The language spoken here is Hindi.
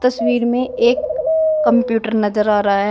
तस्वीर में एक कंप्यूटर नजर आ रहा है।